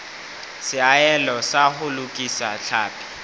seahelo sa ho lokisa tlhapi